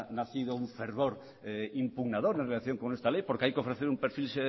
nacido un fervor impugnador en relación con esta ley porque hay que ofrecer un perfil